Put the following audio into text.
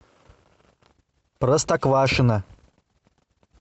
простоквашино